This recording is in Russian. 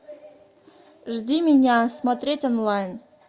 жди меня смотреть онлайн